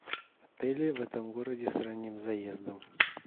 отели в этом городе с ранним заездом